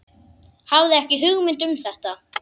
Hafði ekki hugmynd um þetta.